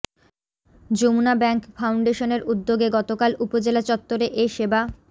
Jamuna bank ফাউন্ডেশনের উদ্যোগে গতকাল উপজেলা চত্বরে এ সেবা